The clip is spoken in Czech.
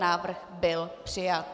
Návrh byl přijat.